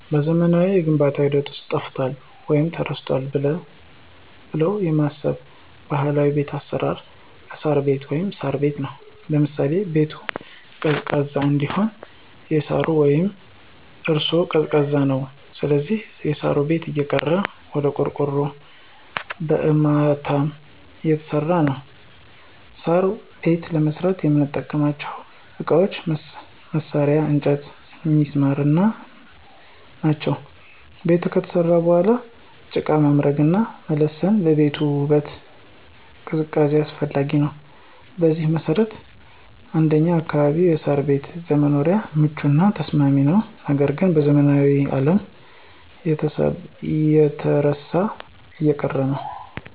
በዘመናዊው የግንባታ ሂደት ውስጥ ጠፍቷል ወይም ተረስቷል ብለው የማስበው ባህላዊ የቤት አሰራር እሳር ቤት(ሳር ቤት) ነው። ለምሳሌ -ቤቱን ቀዝቃዛ እንዲሆን እሳሩ ቤት እራሱ ቀዝቃዛ ነው ስለዚህ የሳር ቤት እየቀረ ወደ ቆርቆሮና በአርማታ እየተሰራ ነው። ሳር ቤት ለመስራት የምንጠቀምባቸው እቃዎች፣ መሳርያ፣ እንጨቶችና ሚስማሮች ናቸው። ቤቱ ከተሰራ በኋላ በጭቃ መምረግና መለሰን ለቤቱ ውበትና ቅዝቃዜ አስፈላጊ ነው። በዚህ መሰረት እንደኛ አካባቢ የሳር ቤት ለመኖሪያም ምቹና ተስማሚ ነው ነገር ግን በዘመናዊው አለም እየተረሳና እየቀረ ነው።